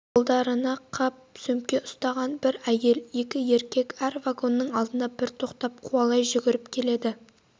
қолдарына қап сөмке ұстаған бір әйел екі еркек әр вагонның алдына бір тоқтап қуалай жүгіріп келеді